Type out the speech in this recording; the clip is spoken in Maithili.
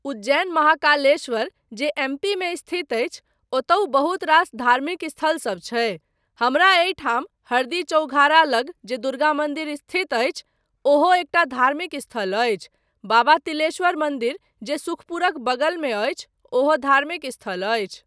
उज्जैन महाकालेश्वर जे एमपीमे स्थित अछि ओतहुँ बहुत रास धार्मिक स्थलसब छै, हमरा एहिठाम हरदी चौघारा लग जे दुर्गा मन्दिर स्थित अछि, ओहो एकटा धार्मिक स्थल अछि, बाबा तिलेश्वर मन्दिर जे सुखपुरक बगलमे अछि ओहो धार्मिक स्थल अछि।